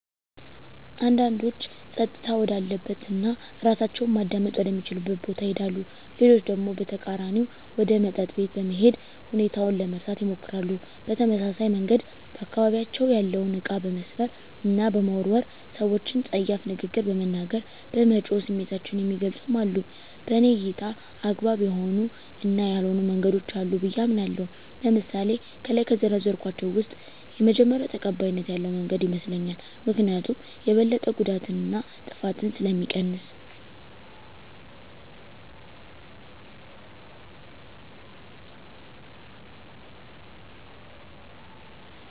አንዳንዶች ፀጥታ ወዳለበት እና እራሳቸውን ማዳመጥ ወደ ሚችሉበት ቦታ ይሄዳሉ። ሌሎች ደግሞ በተቃራኒው ወደ መጠጥ ቤት በመሄድ ሁኔታውን ለመርሳት ይሞክራሉ። በተመሳሳይ መንገድ በአካባቢያቸው ያለውን እቃ በመስበር እና በመወርወር፣ ሰወችን ፀያፍ ንግግር በመናገር፣ በመጮህ ስሜታቸውን የሚገልፁም አሉ። በኔ እይታ አግባብ የሆኑ እና ያልሆኑ መንገዶች አሉ ብየ አምናለሁ። ለምሳሌ ከላይ ከዘረዘርኳቸው ውስጥ የመጀመሪው ተቀባይነት ያለው መንገድ ይመስለኛል። ምክኒያቱም የበለጠ ጉዳትን እና ጥፋትን ስለሚቀንስ።